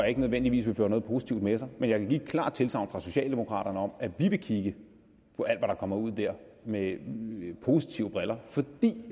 ikke nødvendigvis vil føre noget positivt med sig men jeg kan give et klart tilsagn fra socialdemokraterne om at vi vil kigge på alt der kommer ud der med med positive briller fordi